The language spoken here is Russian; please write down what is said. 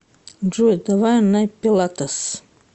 джой давай на пилатес